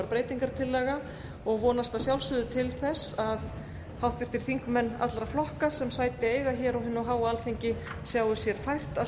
breytingartillaga og vonast að sjálfsögðu til þess að háttvirtir þingmenn allra flokka sem sæti eiga á hinu háa alþingi sjái sér fært að